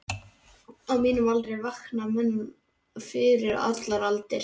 Á mínum aldri vakna menn fyrir allar aldir.